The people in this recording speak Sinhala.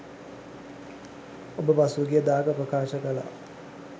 ඔබ පසුගියදාක ප්‍රකාශ කළා